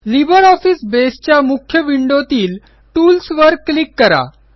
LibreOffice Baseच्या मुख्य विंडोतील टूल्सवर क्लिक करा